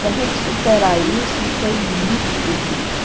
Para a gente superar isso foi muito difícil.